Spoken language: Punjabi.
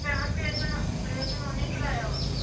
ਭੈਣਾਂ operation, operation ਉਹਨੇ ਹੀ ਕਰਵਾਇਆ ਵਾ।